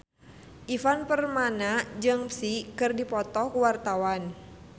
Ivan Permana jeung Psy keur dipoto ku wartawan